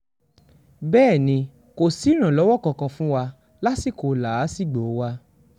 bẹ́ẹ̀ ni kò sí ìrànlọ́wọ́ kankan fún wa lásìkò làásìgbò wa